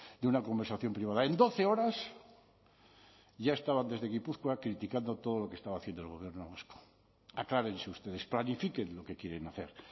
de una conversación privada en doce horas ya estaban desde gipuzkoa criticando todo lo que estaba haciendo el gobierno vasco aclárense ustedes planifiquen lo que quieren hacer